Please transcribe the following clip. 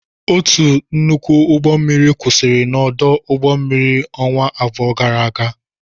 Otu nnukwu ụgbọ mmiri kwụsịrị n'ọdụ ụgbọ mmiri ọnwa abụọ gara aga.